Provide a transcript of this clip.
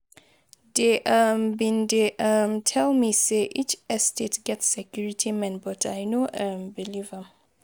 Dey um bin dey[um] tell me say each estate get security men but I no um believe am.